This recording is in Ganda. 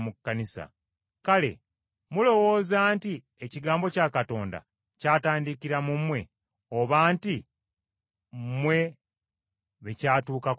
Kale mulowooza nti ekigambo kya Katonda kyatandikira mu mmwe oba nti mmwe be kyatuukako mwekka?